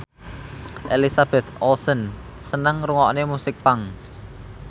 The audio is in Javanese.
Elizabeth Olsen seneng ngrungokne musik punk